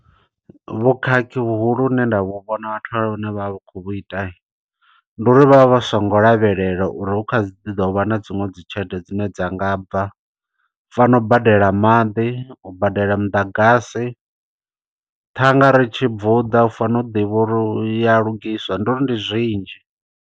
Vhukhakhi vhuhulu hune nda vhu vhona vhathu vhane vha vha khou vhu ita. Ndi uri vha vha vha songo lavhelela uri hu kha ḓi ḓovha na dziṅwe dzitshelede dzine dza nga bva. U fana u badela maḓi, u badela muḓagasi, ṱhanga are i tshi bvuḓa. U fanela u ḓivha uri u ya lugiswa. Ndi uri ndi zwinzhi.